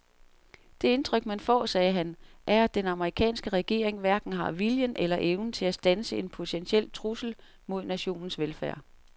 Det indtryk man får, sagde han, er at den amerikanske regering hverken har viljen eller evnen til at standse en potentiel trussel mod nationens velfærd.